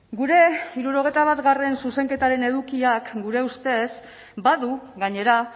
gure hirurogeita batgarrena zuzenketaren edukiak gure ustez badu gainera